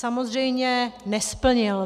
Samozřejmě nesplnil.